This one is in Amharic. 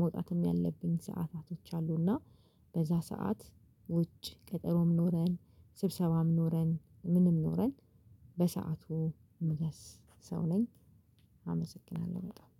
መውጣትም ያለብኝ ሰዓታቶች አሉ። እና በዛ ሰዓት ውጭ ቀጠሮም ኖረን፣ ስብሰባም ኖረን፣ ምንም ኖረን በሰአቱ ምደርስ ሰው ነኝ። አመሰግናለሁ በጣም።